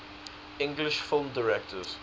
english film directors